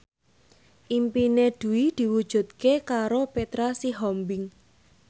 impine Dwi diwujudke karo Petra Sihombing